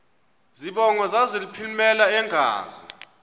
zibongo zazlphllmela engazi